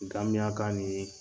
Gmiyak'a ni ye